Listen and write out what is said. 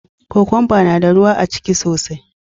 Kokwamba na da ruwa aciki sosai.